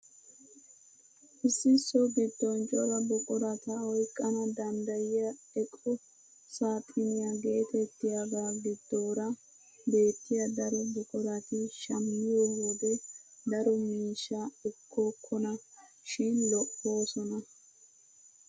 Issi so giddon cora buqurata oyqqana danddayiyaa eqo saaxiniyaa getettiyaaga giddoora beettiyaa daro buqurati shammiyoo wode daro miishshaa ekkokona shin lo"oosona.